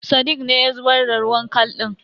Sadiq ne ya zubar da ruwan kal din.